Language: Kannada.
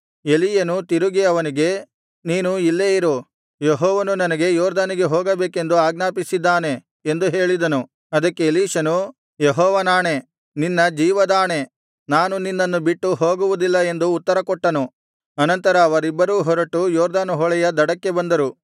ಎಲೀಯನು ತಿರುಗಿ ಅವನಿಗೆ ನೀನು ಇಲ್ಲೇ ಇರು ಯೆಹೋವನು ನನಗೆ ಯೊರ್ದನಿಗೆ ಹೋಗಬೇಕೆಂದು ಆಜ್ಞಾಪಿಸಿದ್ದಾನೆ ಎಂದು ಹೇಳಿದನು ಅದಕ್ಕೆ ಎಲೀಷನು ಯೆಹೋವನಾಣೆ ನಿನ್ನ ಜೀವದಾಣೆ ನಾನು ನಿನ್ನನ್ನು ಬಿಟ್ಟು ಹೋಗುವುದಿಲ್ಲ ಎಂದು ಉತ್ತರ ಕೊಟ್ಟನು ಅನಂತರ ಅವರಿಬ್ಬರೂ ಹೊರಟು ಯೊರ್ದನ್ ಹೊಳೆಯ ದಡಕ್ಕೆ ಬಂದರು